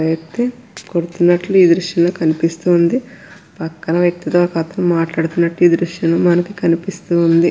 వ్యక్తి కొడుతున్నట్లు ఈ దృశంలో కనిపిస్తూంది పక్కన వ్యక్తితో ఒక అతను మాట్లాడుతున్నట్టు ఈ దృశ్యంలో మనకు కనిపిస్తూంది.